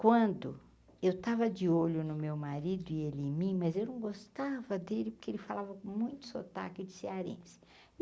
Quando eu estava de olho no meu marido e ele em mim, mas eu não gostava dele porque ele falava com muito sotaque de cearense.